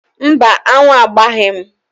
Mba, aṅụ agbaghị m.